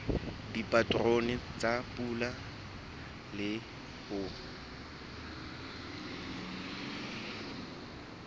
dipaterone tsa pula le ho